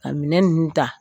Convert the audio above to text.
Ka minɛn ninnu ta